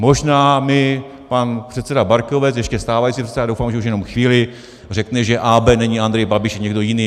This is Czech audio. Možná mi pan předseda Berkovec, ještě stávající předseda, doufám, že už jenom chvíli, řekne, že AB není Andrej Babiš, ale někdo jiný.